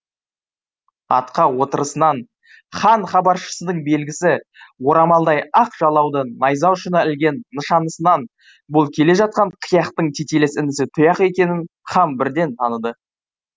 атқа отырысынан хан хабаршысының белгісі орамалдай ақ жалауды найза ұшына ілген нышанысынан бұл келе жатқан қияқтың тетелес інісі тұяқ екенін хан бірден таныды